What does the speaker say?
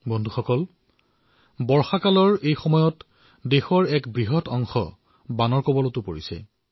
বন্ধুসকল বাৰিষাৰ সময়ছোৱাত দেশৰ এক বৃহদাংশ বানৰ সৈতে যুঁজি আছে